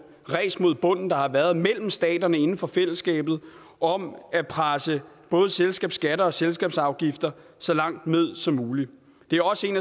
ræs mod bunden der har været mellem staterne inden for fællesskabet om at presse både selskabsskatter og selskabsafgifter så langt ned som muligt det er også en